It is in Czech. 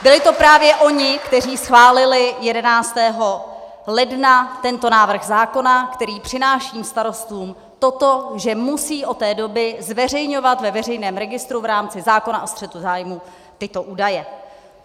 Byli to právě oni, kteří schválili 11. ledna tento návrh zákona, který přináší starostům to, že musí od té doby zveřejňovat ve veřejném registru v rámci zákona o střetu zájmů tyto údaje.